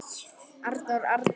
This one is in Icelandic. Arnar Árnason